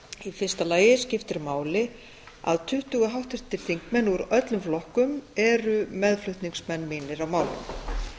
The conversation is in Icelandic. í fyrsta lagi skiptir máli að tuttugu háttvirtir þingmenn úr öllum flokkum eru meðflutningsmenn mínir á málinu